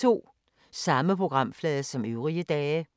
Samme programflade som øvrige dage